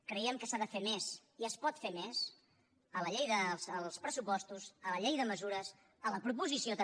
creiem que s’ha de fer més i es pot fer més a la llei dels pressupostos a la llei de mesures a la proposició també